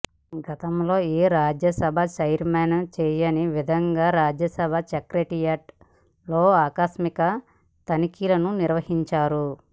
గతంలో ఏ రాజ్యసభ ఛైర్మన్ చేయని విధంగా రాజ్యసభ సెక్రటేరియట్ లో ఆకస్మిక తనిఖీలను నిర్వహించారు